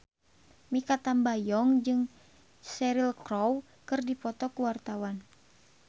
Mikha Tambayong jeung Cheryl Crow keur dipoto ku wartawan